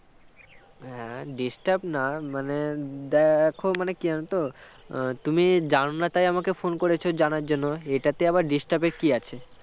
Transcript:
আহ disturb না মানে দেখো মানে কি জানো তো তুমি জানো না তাই আমাকে phone করেছ জানার জন্য এটাতে আবার disturb এর কী আছে